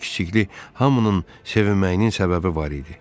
Böyüklü-kiçikli hamının sevinməyinin səbəbi var idi.